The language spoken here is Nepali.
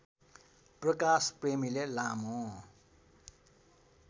प्रकाश प्रेमीले लामो